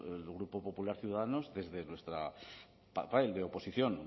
el grupo popular ciudadanos desde nuestro papel de oposición